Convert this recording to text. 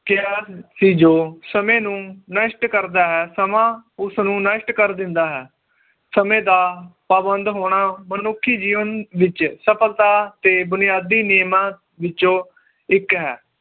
ਕਿਹਾ ਸੀ ਜੋ ਸਮੇ ਨੂੰ ਨਸ਼ਟ ਕਰਦਾ ਹੈ ਸਮਾਂ ਉਸ ਨੂੰ ਨਸ਼ਟ ਕਰ ਦਿੰਦਾ ਹੈ ਸਮੇ ਦਾ ਪਾਬੰਧ ਹੋਣਾ ਮਨੁੱਖੀ ਜੀਵਨ ਵਿਚ ਸਫਲਤਾ ਤੇ ਬੁਨਿਆਦੀ ਨਿਯਮਾਂ ਵਿੱਚੋ ਇੱਕ ਹੈ